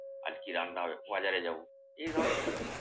আজকে রান্না হবে বাজারে যাবো। এ ধরনেরই ব্যাপার।